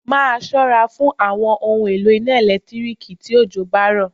Máa ṣọ́ra fún àwọn ohun èlò iná ẹ̀lẹ́tíríkì tí òjò bá rọ̀.